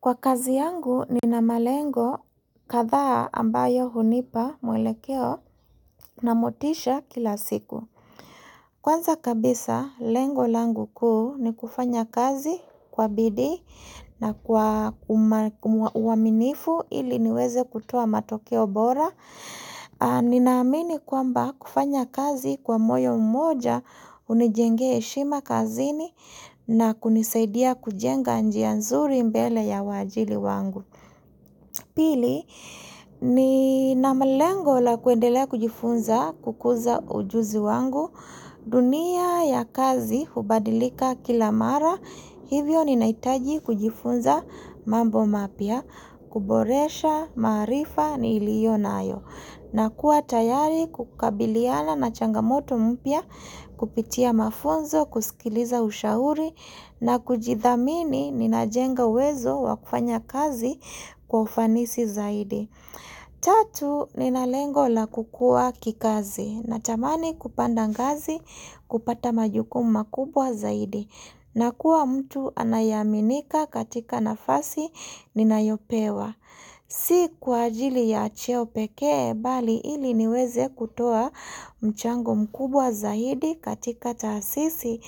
Kwa kazi yangu ninamalengo kadhaa ambayo hunipa mwelekeo na motisha kila siku. Kwanza kabisa, lengo langu kuu ni kufanya kazi kwa bidii na kwa uaminifu ili niweze kutoa matoke bora. Ninaamini kwamba kufanya kazi kwa moyo mmoja hunijengea heshima kazini na kunisaidia kujenga njia nzuri mbele ya waajili wangu. Pili, ninamalengo la kuendelea kujifunza kukuza ujuzi wangu, dunia ya kazi hubadilika kila mara, hivyo ninahitaji kujifunza mambo mapya, kuboresha, maarifa niliyonayo. Na kuwa tayari kukabiliana na changamoto mpya kupitia mafunzo, kusikiliza ushauri na kujithamini ninajenga uwezo wa kufanya kazi kwa ufanisi zaidi. Tatu ninalengo la kukua kikazi na tamani kupanda ngazi kupata majukumu makubwa zaidi. Na kuwa mtu anayeaminika katika nafasi ninayopewa. Si kwa ajili ya cheo pekee bali ili niweze kutoa mchango mkubwa zaidi katika taasisi